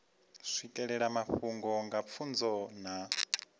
swikelela mafhungo nga pfunzo na